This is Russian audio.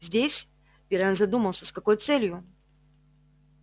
здесь пиренн задумался с какой целью